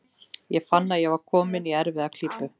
Ég fann að ég var kominn í erfiða klípu.